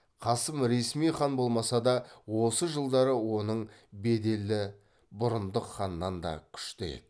қасым ресми хан болмаса да осы жылдары оның беделі бұрындық ханнан да күшті еді